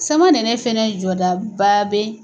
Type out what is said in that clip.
Samanɛnɛ fɛnɛ jɔdaba bɛ